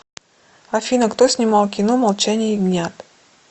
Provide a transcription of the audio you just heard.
афина кто снимал кино молчание ягнят